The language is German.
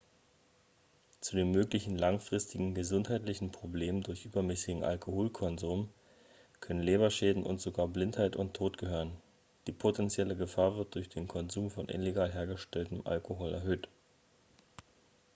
zu den möglichen langfristigen gesundheitlichen problemen durch übermäßigen alkoholkonsum können leberschäden und sogar blindheit und tod gehören die potenzielle gefahr wird durch den konsum von illegal hergestelltem alkohol erhöht